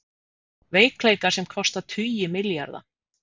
Veikleikar sem kosta tugi milljarða